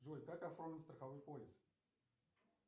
джой как оформить страховой полис